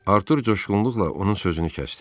Artur coşğunluqla onun sözünü kəsdi.